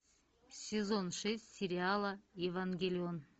сезон шесть сериала евангелион